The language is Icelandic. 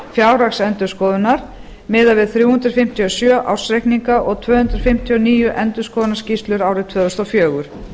fjárhagsendurskoðunar miðað við þrjú hundruð fimmtíu og sjö ársreikninga og tvö hundruð fimmtíu og níu endurskoðunarskýrslum árið tvö þúsund og fjögur